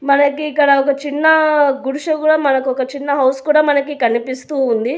మనకి ఇక్కడ ఒక చిన్న గుడిసె కూడా మనకు ఒక చిన్న హౌస్ కూడా మనకి కనిపిస్తూ ఉంది.